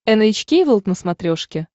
эн эйч кей волд на смотрешке